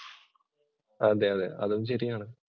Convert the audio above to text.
അതേയതെ, അതും ശരിയാണ്